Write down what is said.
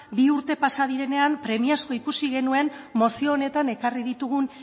bi urte pasa direnean premiazkoa ikusi genuen mozio honetan ekarri ditugun